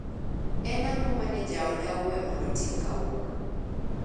En ango mane jaoda owee mondo otim kawuono